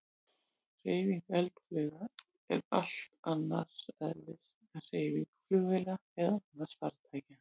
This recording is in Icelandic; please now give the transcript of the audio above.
Hreyfing eldflauga er allt annars eðlis en hreyfing flugvéla eða annarra farartækja.